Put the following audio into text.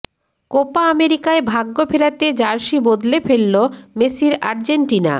Copa আমেরিকায় ভাগ্য ফেরাতে জার্সি বদলে ফেলল মেসির আর্জেন্টিনা